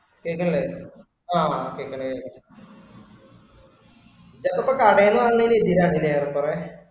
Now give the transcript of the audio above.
കേൾക്കണില്ലേ ആഹ് കേൾക്കണ്‌~ കേൾക്കണ്‌ ഇതിപ്പോ കടെന്നു വന്നെന്റെ ഇതിലാണ് ഇല്ലേ ഏറെ കുറെ.